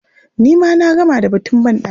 Ni ma na gama da batun banɗaki.